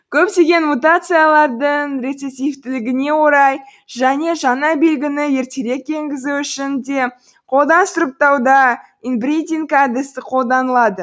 көптеген мутациялардың рецессивтілігіне орай және жаңа белгіні ертерек енгізу үшін де қолдан сұрыптауда инбридинг әдісі қолданылады